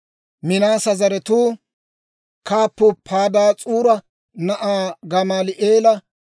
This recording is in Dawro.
Minaase zaratuu kaappuu Padaas'uura na'aa Gamaali'eela;